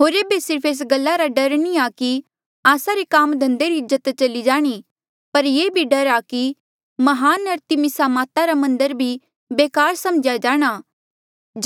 होर एेबे सिर्फ एस गल्ला रा डर नी आ कि आस्सा रे काम धंधे री इज्जत चली जाणी पर ये डर भी आ कि म्हान अरतिमिसा माता रा मन्दर भी बेकार समझ्या जाणा